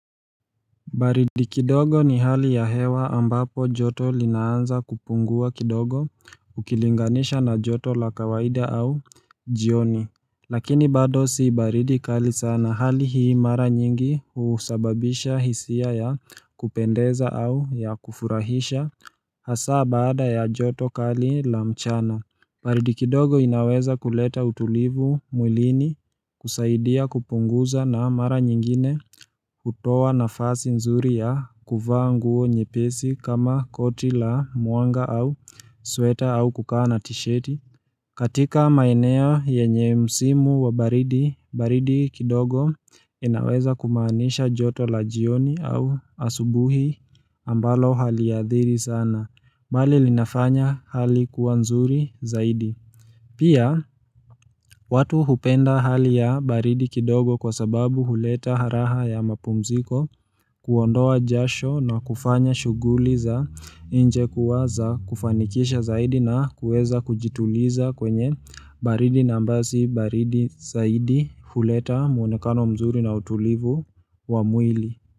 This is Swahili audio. Baridi kidogo ni hali ya hewa ambapo joto linaanza kupungua kidogo ukilinganisha na joto la kawaida au jioni Lakini bado si baridi kali sana hali hii mara nyingi husababisha hisia ya kupendeza au ya kufurahisha hasa baada ya joto kali la mchana baridi kidogo inaweza kuleta utulivu mwilini kusaidia kupunguza na mara nyingine kutoa nafasi nzuri ya kuvaa nguo nyepesi kama koti la mwanga au sweta au kukaa tisheti katika maeneo yenye msimu wa baridi, baridi kidogo inaweza kumaanisha joto la jioni au asubuhi ambalo haliadhiri sana mbali linafanya hali kuwa nzuri zaidi. Pia, watu hupenda hali ya baridi kidogo kwa sababu huleta raha ya mapumziko kuondoa jasho na kufanya shughuli za nje kuwa za kufanikisha zaidi na kueza kujituliza kwenye baridi na ambayo si baridi zaidi huleta muonekano mzuri na utulivu wa mwili.